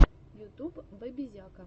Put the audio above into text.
ютуб бэбизяка